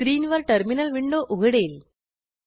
स्क्रीनवर terminal window उघडेल